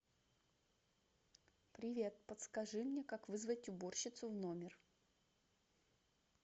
привет подскажи мне как вызвать уборщицу в номер